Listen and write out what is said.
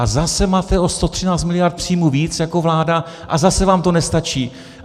A zase máte o 113 miliard příjmů víc jako vláda, a zase vám to nestačí.